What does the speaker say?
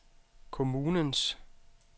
kommunens